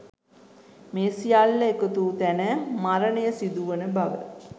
මේ සියල්ල එකතු වූ තැන මරණය සිදුවන බව